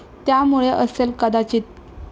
त्यामुळे असेल कदाचित.